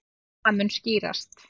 Og það mun skýrast.